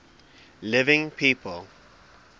living people